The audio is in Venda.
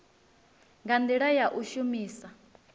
nga ndila ya u shumisa